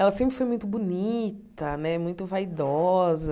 Ela sempre foi muito bonita né, muito vaidosa.